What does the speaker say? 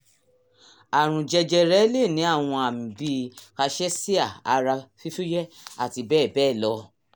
àrùn jẹjẹrẹ lè ní àwọn àmì bíi cachexia ara fífúyẹ́ àti bẹ́ẹ̀ bẹ́ẹ̀ lọ